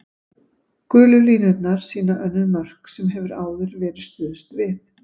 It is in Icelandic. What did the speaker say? Gulu línurnar sýna önnur mörk sem hefur áður verið stuðst við.